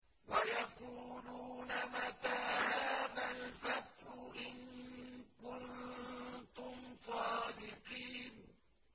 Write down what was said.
وَيَقُولُونَ مَتَىٰ هَٰذَا الْفَتْحُ إِن كُنتُمْ صَادِقِينَ